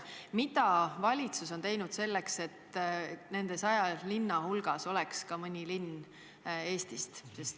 Mida valitsus on teinud selleks, et nende 100 linna hulgas oleks ka mõni linn Eestist?